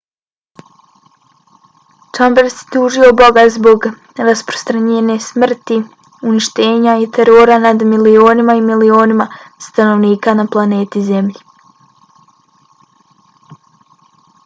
chambers je tužio boga zbog rasprostranjene smrti uništenja i terora nad milionima i milionima stanovnika na planeti zemlji.